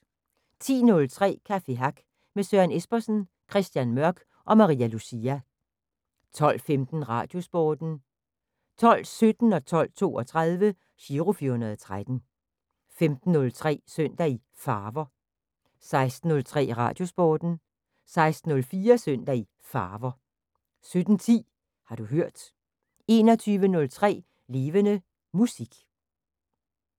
10:03: Café Hack med Søren Espersen, Christian Mørch og Maria Lucia 12:15: Radiosporten 12:17: Giro 413 12:32: Giro 413 15:03: Søndag i Farver 16:03: Radiosporten 16:04: Søndag i Farver 17:10: Har du hørt 21:03: Levende Musik